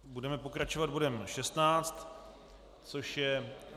Budeme pokračovat bodem 16, což je